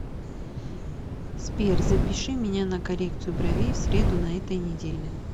сбер запиши меня на коррекцию бровей в среду на этой неделе